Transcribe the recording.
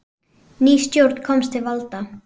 Ný stjórn komst til valda.